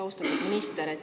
Austatud minister!